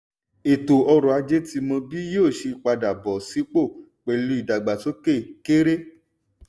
ètò ọrọ̀ ajé ti mọ bí yóò ṣe padà bọ́ sípò pẹ̀lú ìdàgbásókè kéré.